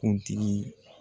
Kuntigi